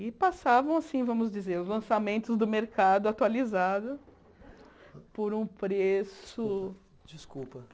E passavam, assim vamos dizer, os lançamentos do mercado atualizado por um preço... Desculpa.